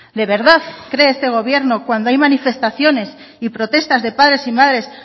de verdad cree este gobierno cuando hay manifestaciones y protestas de padres y madres